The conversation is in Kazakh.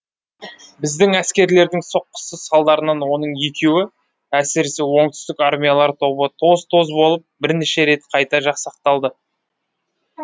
біздің әскерлердің соққысы салдарынан оның екеуі әсіресе оңтүстік армиялар тобы тоз тоз болып бірнеше рет қайта жасақталды